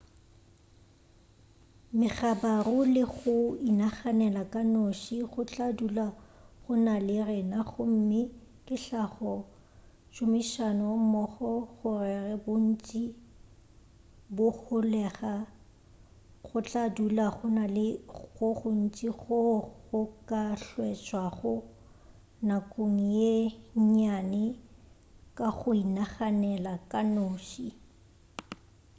megabaru le go inaganela ka noši go tla dula go na le rena gomme ke hlago ya tšhomišano-mmogo gore ge bontši bo holega go tla dula go na le go gontši goo go ka hwetšwago nakong ye nnyane ka go inaganela ka noši